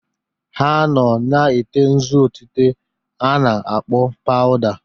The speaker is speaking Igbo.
Ha nọ na-ete nzu otite a na-akpọ paụda.